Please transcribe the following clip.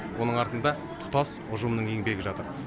оның артында тұтас ұжымның еңбегі жатыр